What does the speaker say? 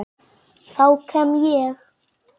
Þá kem ég